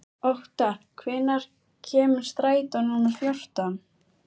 Óttar, hvenær kemur strætó númer fjórtán?